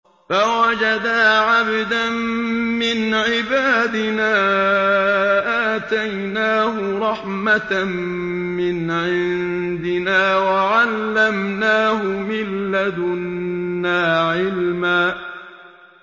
فَوَجَدَا عَبْدًا مِّنْ عِبَادِنَا آتَيْنَاهُ رَحْمَةً مِّنْ عِندِنَا وَعَلَّمْنَاهُ مِن لَّدُنَّا عِلْمًا